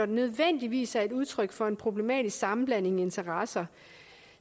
nødvendigvis er et udtryk for en problematisk sammenblanding af interesser